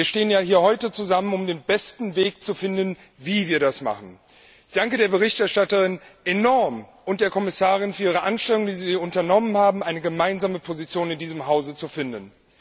Wir stehen ja hier heute zusammen, um den besten Weg zu finden, wie wir das machen. Ich danke der Berichterstatterin und der Kommissarin sehr für die Anstrengungen, die sie unternommen haben, um eine gemeinsame Position in diesem Hause zu finden.